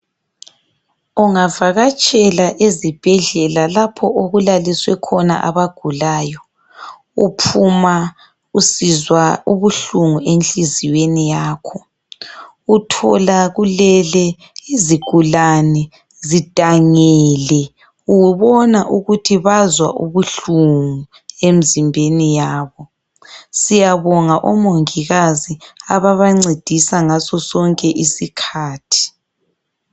Ungavakatshela ezibhedlela lapho okulaliswe khona abagulayo, uphuma usizwa ubuhlungu enhliziyweni yakho. Uthola kulele izigulane zidangile, ubona ukuthi bazwa ubuhlungu emzimbeni yabo. Siyabonga omongikazi ababancedisa ngaso sonke isikhathi.